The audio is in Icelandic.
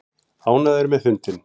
Ánægður með fundinn